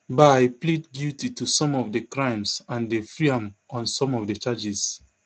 bye plead guilty to some of di crimes and dem free am on some of di charges